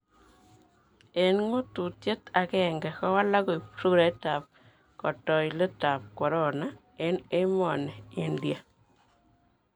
Eng ngututyet agenge, kawalak koib surait tab kotoilet tab corona eng emoni India.